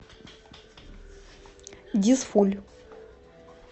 дизфуль